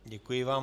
Děkuji vám.